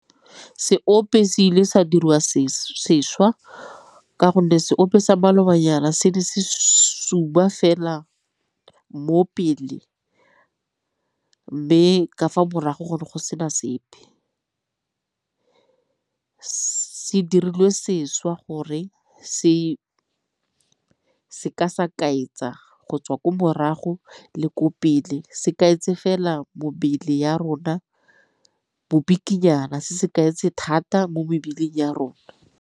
Seope se ile sa diriwa sešwa ka gonne seope sa maloba nyana se le fela mo pele mme ka fa morago go ne go sena sepe. Se dirilwe sešwa gore se se ka sa kaetsa go tswa ko morago le ko pele se kaetse fela mebele ya rona bo bikinyana se kaetse thata mo mebeleng ya rona.